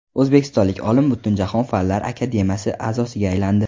O‘zbekistonlik olim Butunjahon Fanlar akademiyasi a’zosiga aylandi.